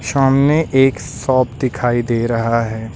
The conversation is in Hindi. सामने एक शॉप दिखाई दे रहा है।